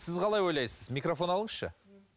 сіз қалай ойлайсыз микрофон алыңызшы